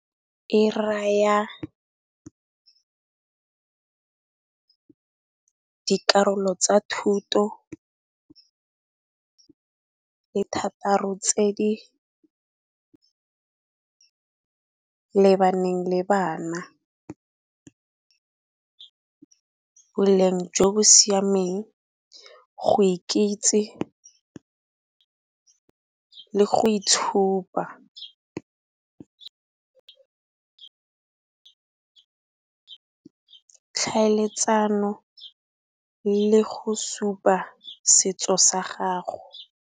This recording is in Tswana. E raya dikarolo tsa thuto tse thataro tse di lebaneng le bana. Boleng jo bo siameng go ikitsi le go itshupa, tlhaeletsano le go supa setso sa gago.